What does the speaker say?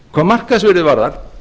hvað markaðsvirðið varðar